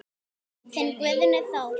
Þinn Guðni Þór.